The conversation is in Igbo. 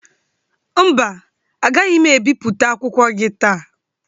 Mba, agaghị ebiputa akwụkwọ gị taa.